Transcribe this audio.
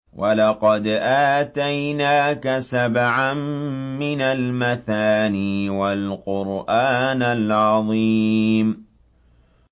وَلَقَدْ آتَيْنَاكَ سَبْعًا مِّنَ الْمَثَانِي وَالْقُرْآنَ الْعَظِيمَ